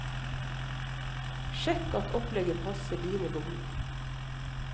Sjekk at opplegget passer dine behov.